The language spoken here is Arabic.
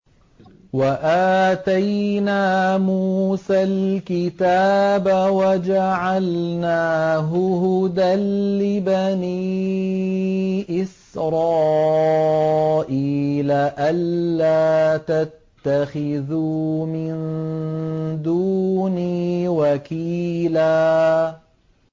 وَآتَيْنَا مُوسَى الْكِتَابَ وَجَعَلْنَاهُ هُدًى لِّبَنِي إِسْرَائِيلَ أَلَّا تَتَّخِذُوا مِن دُونِي وَكِيلًا